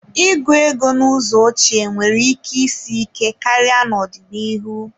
Ịgụ ego n'ụzọ ochie nwere ike isi ike karịa n'ọdịnihu.